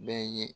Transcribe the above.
Bɛɛ ye